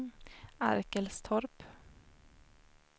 Arkelstorp